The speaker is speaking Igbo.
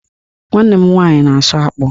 Nwanne m nwaanyị na-asụ akpụ